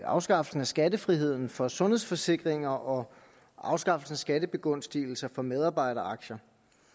afskaffelsen af skattefriheden for sundhedsforsikringer og afskaffelsen af skattebegunstigelser for medarbejderaktier